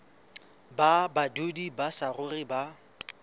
ba badudi ba saruri ba